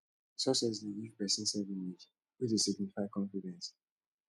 success dey give person self image wey dey signify confidence